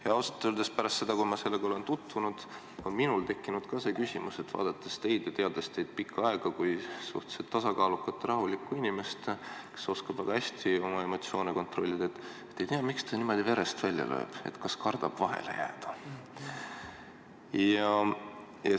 Ja ausalt öeldes pärast sellega tutvumist on omakorda minul tekkinud küsimus, et – vaadates teid ja teades teid pikka aega kui suhteliselt tasakaalukat ja rahulikku inimest, kes oskab väga hästi oma emotsioone kontrollida – ei tea, miks ta küll niimoodi verest välja lööb, kas kardab vahele jääda.